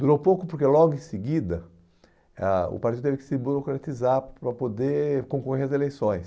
Durou pouco porque, logo em seguida, eh ah o partido teve que se burocratizar para poder concorrer às eleições.